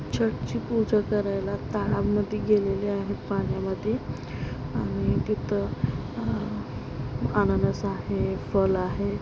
छट ची पूजा करायला तालाब मधी गेलेली आहेत पाण्यामधी आणि तिथं अं अननस आहे.फल आहे.